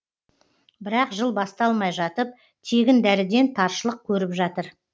бірақ жыл басталмай жатып тегін дәріден таршылық көріп жатыр